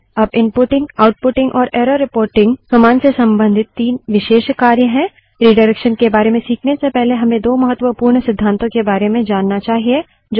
अब inputting outputting और error reporting command से संबंधित तीन विशेष कार्य हैं रिडाइरेक्शन के बारे में खीखने से पहले हमें दो महत्वपूर्ण सिद्धातों के बारे में जानना चाहिए